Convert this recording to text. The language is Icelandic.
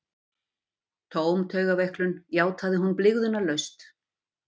Tóm taugaveiklun, játaði hún blygðunarlaust.